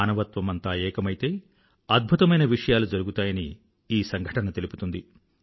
మానవత్వమంతా ఏకమైతే అద్భుతమైన విషయాలు జరుగుతాయని ఈ సంఘటన తెలుపుతుంది